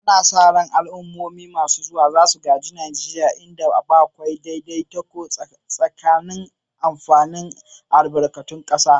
Ana sa ran al'ummomi masu zuwa za su gaji Najeriya inda akwai daidaito tsakanin amfani da albarkatun kasa.